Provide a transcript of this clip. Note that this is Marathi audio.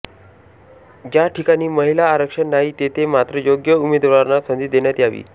ज्या ठिकाणी महिला आरक्षण नाही तेथे मात्र योग्य उमेदवारांना संधी देण्यात यावी